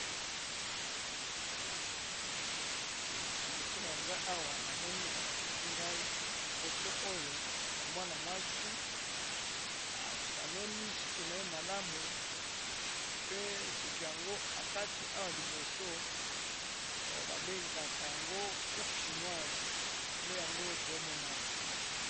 Liboso nanga awa namoni balakisi ngai foto oyo ya mwana mwasi asanoli suki na ye malamu, pe suki yango akati awa liboso babengaka yango coupe shinoise nde yango tomoni awa.